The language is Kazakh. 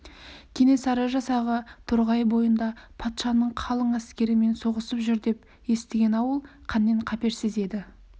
кенесары жасағы торғай бойында патшаның қалың әскерімен соғысып жүр деп естіген ауыл қаннен-қаперсіз еді